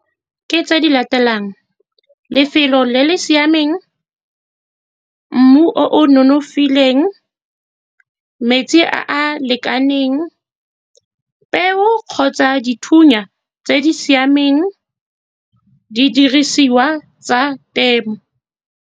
Ke tse di latelang, lefelo le le siameng, mmu o nonofileng, metsi a a lekaneng, peo kgotsa dithunya tse di siameng, di dirisiwa tsa temo.